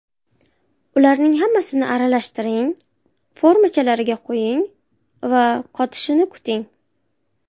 Ularning hammasini aralashtiring, formachalarga quying va qotishini kuting.